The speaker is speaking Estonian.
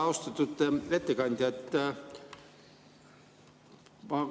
Austatud ettekandja!